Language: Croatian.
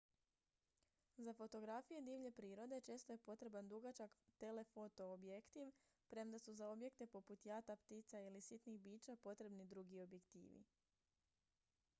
za fotografije divlje prirode često je potreban dugačak telefoto objektiv premda su za objekte poput jata ptica ili sitnih bića potrebni drugi objektivi